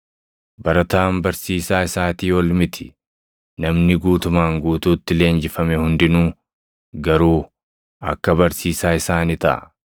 Barataan barsiisaa isaatii ol miti; namni guutumaan guutuutti leenjifame hundinuu garuu akka barsiisaa isaa ni taʼa.